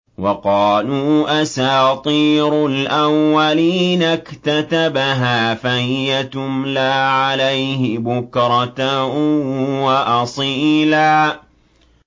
وَقَالُوا أَسَاطِيرُ الْأَوَّلِينَ اكْتَتَبَهَا فَهِيَ تُمْلَىٰ عَلَيْهِ بُكْرَةً وَأَصِيلًا